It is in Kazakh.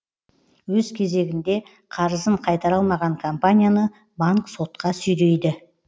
өз кезегінде қарызын қайтара алмаған компанияны банк сотқа сүйрейді